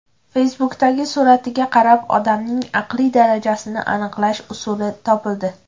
Facebook’dagi suratiga qarab, odamning aqliy darajasini aniqlash usuli topildi.